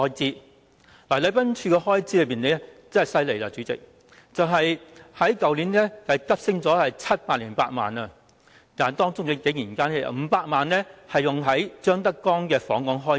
主席，禮賓處的開支可厲害了，去年急升了708萬元，但當中竟然有500萬元是接待張德江訪港的開支。